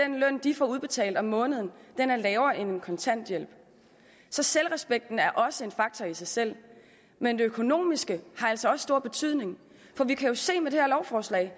den løn de får udbetalt om måneden er lavere end en kontanthjælp så selvrespekten er også en faktor i sig selv men det økonomiske har altså også stor betydning for vi kan jo se at der med det her lovforslag